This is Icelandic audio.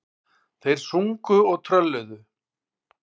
Þeir sungu og trölluðu.